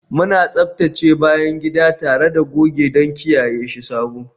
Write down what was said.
Muna tsaftace bayan gida tare da goge don kiyaye shi sabo